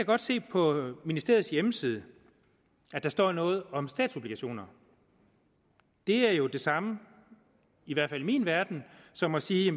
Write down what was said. godt se på ministeriets hjemmeside at der står noget om statsobligationer det er jo det samme i hvert fald i min verden som at sige